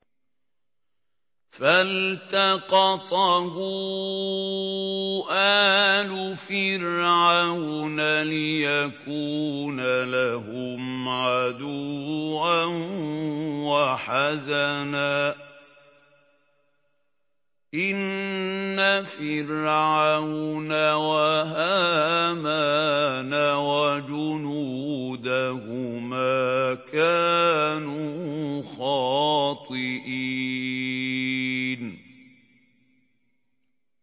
فَالْتَقَطَهُ آلُ فِرْعَوْنَ لِيَكُونَ لَهُمْ عَدُوًّا وَحَزَنًا ۗ إِنَّ فِرْعَوْنَ وَهَامَانَ وَجُنُودَهُمَا كَانُوا خَاطِئِينَ